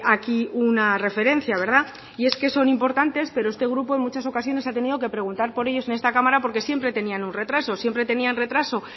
aquí una referencia y es que son importantes pero este grupo en muchas ocasiones ha tenido que preguntar por ellos en esta cámara porque siempre tenían un retraso siempre tenían retraso